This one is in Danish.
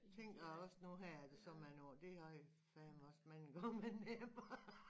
Tænker også nu her efter så mange år det har jo fandme også mange gange været nemmere